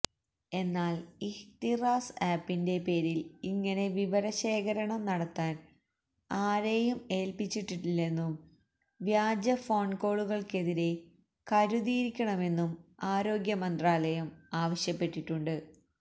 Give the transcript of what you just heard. എന്നാൽ ഇഹ്തിറാസ് ആപ്പിൻറെ പേരിൽ ഇങ്ങനെ വിവരശേഖരണം നടത്താൻ ആരെയും ഏൽപ്പിച്ചിട്ടില്ലെന്നും വ്യാജ ഫോൺ കോളുകൾക്കെതിരെ കരുതിയിരിക്കണമെന്നും ആരോഗ്യമന്ത്രാലയം ആവശ്യപ്പെട്ടിട്ടുണ്ട്